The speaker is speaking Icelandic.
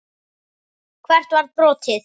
Hvert var brotið?